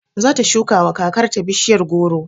Zata shukawa kakar ta bishiya goro